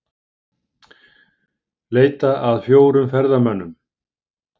Leita að fjórum ferðamönnum